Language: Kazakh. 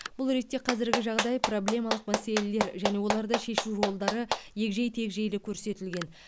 бұл ретте қазіргі жағдай проблемалық мәселелер және оларды шешу жолдары егжей тегжейлі көрсетілген